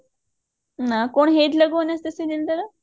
ନା କଣ ହେଇଥିଲା କୁହନା ସେ serialଟାରେ